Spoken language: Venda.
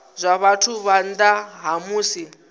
zwa vhathu phanḓa ha musi